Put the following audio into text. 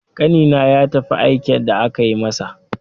Ƙanina ya tafi aike da aka yi masa.